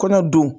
Kɔnɔ don